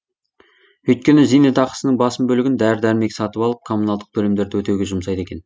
өйткені зейнетақысының басым бөлігін дәрі дәрмек сатып алып коммуналдық төлемдерді өтеуге жұмсайды екен